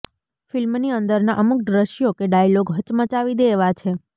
ફિલ્મની અંદરનાં અમુક દૃશ્યો કે ડાયલોગ હચમચાવી દે એવાં છે